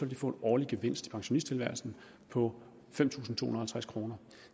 de få en årlig gevinst i pensionisttilværelsen på fem tusind to og halvtreds kroner